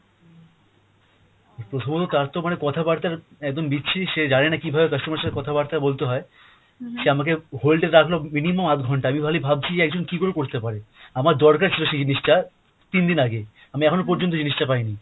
প্রথমত তার তো মানে কথা বার্তার একদম বিচ্ছিরি সে জানে না কীভাবে customer এর সাথে কথা বার্তা বলতে হয়। সে আমাকে hold এ রাখলো minimum আধ ঘন্টা, আমি খালি ভাবছি যে একজন কী করে করতে পারে? আমার দরকার ছিলো সেই জিনিষটা তিন দিন আগে, আমি এখনো পর্যন্ত জিনিষটা পাইনি।